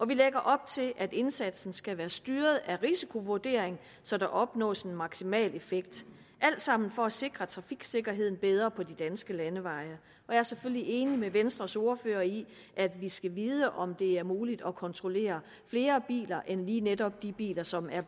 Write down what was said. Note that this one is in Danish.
vi lægger op til at indsatsen skal være styret af risikovurderingen så der opnås en maksimal effekt alt sammen for at sikre trafiksikkerheden bedre på de danske landeveje jeg er selvfølgelig enig med venstres ordfører i at vi skal vide om det er muligt at kontrollere flere biler end lige netop de biler som er